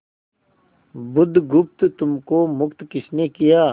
बुधगुप्त तुमको मुक्त किसने किया